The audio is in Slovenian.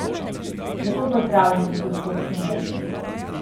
Lepo pozdravljeni, gospod Šumar!